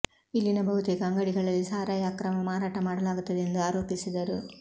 ಇಲ್ಲಿನ ಬಹುತೇಕ ಅಂಗಡಿಗಳಲ್ಲಿ ಸಾರಾಯಿ ಅಕ್ರಮ ಮಾರಾಟ ಮಾಡಲಾಗುತ್ತದೆ ಎಂದು ಆರೋಪಿಸಿದರು